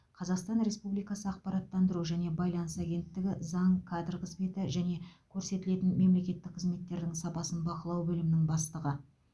қазақстан республикасы ақпараттандыру және байланыс агенттігі заң кадр қызметі және көрсетілетін мемлекеттік қызметтердің сапасын бақылау бөлімінің бастығы